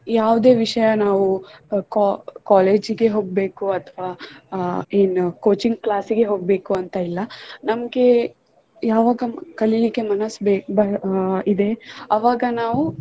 ಯಾವುದೇ ವಿಷಯ ನಾವು co~ college ಗೆ ಹೋಗ್ಬೇಕು ಅಥವಾ ಅಹ್ ಏನು coaching class ಗೆ ಹೋಗ್ಬೇಕು ಅಂತ ಇಲ್ಲ ನಮಗೆ ಯಾವಾಗ ಕಲಿಲಿಕ್ಕೆ ಮನಸ್ ಬೆ~ ಅಹ್ ಇದೆ ಅವಾಗ ನಾವು